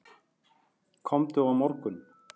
Komdu á morgun.